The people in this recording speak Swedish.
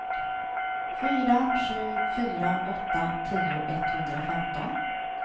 fyra sju fyra åtta tio etthundrafemton